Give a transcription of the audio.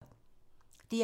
DR2